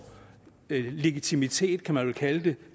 legitimitet kan man vel kalde det